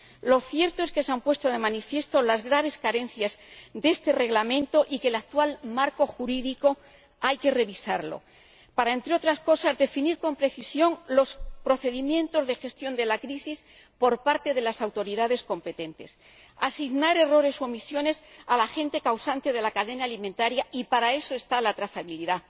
Lo cierto es que se han puesto de manifiesto las graves carencias de este Reglamento y que hay que revisar el actual marco jurídico para, entre otras cosas, definir con precisión los procedimientos de gestión de crisis por parte de las autoridades competentes, asignar errores u omisiones al agente causante en la cadena alimentaria —y para eso está la trazabilidad—,